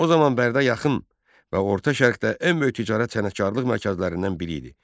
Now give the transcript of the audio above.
O zaman Bərdə yaxın və orta şərqdə ən böyük ticarət sənətkarlıq mərkəzlərindən biri idi.